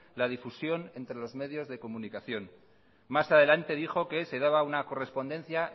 la difusión entre los medios de comunicación más adelante dijo que se daba una correspondencia